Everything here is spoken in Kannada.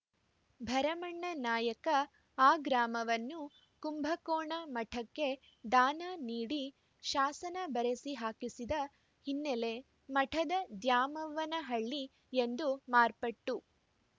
ಭರಮಣ್ಣನಾಯಕ ಆ ಗ್ರಾಮವನ್ನು ಕುಂಭಕೋಣ ಮಠಕ್ಕೆ ದಾನ ನೀಡಿ ಶಾಸನ ಬರೆಸಿ ಹಾಕಿಸಿದ ಹಿನ್ನೆಲೆ ಮಠದ ದ್ಯಾಮವ್ವನಹಳ್ಳಿ ಎಂದು ಮಾರ್ಪಟ್ಟು